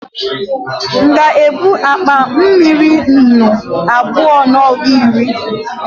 m'ga ebu akpa mmiri nnù abua na ọgu iri?